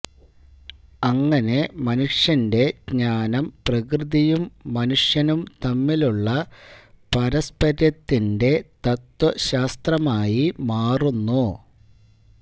അങ്ങനെ മനുഷ്യന്റെ ജ്ഞാനം പ്രകൃതിയും മനുഷ്യനും തമ്മിലുള്ള പാരസ്പര്യത്തിന്റെ തത്ത്വശാസ്ത്രമായി മാറുന്നു